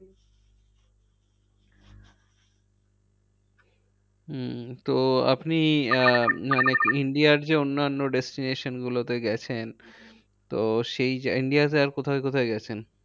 উম তো আপনি India র যে অন্যানো destination গুলোতে গেছেন তো সেই India তে আর কোথায় কোথায় গেছেন?